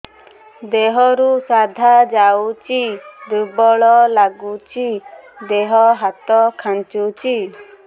ଦେହରୁ ସାଧା ଯାଉଚି ଦୁର୍ବଳ ଲାଗୁଚି ଦେହ ହାତ ଖାନ୍ଚୁଚି